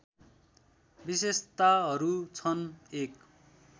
विशेताहरू छन् १